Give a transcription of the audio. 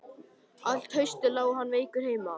Allt haustið lá hann veikur heima.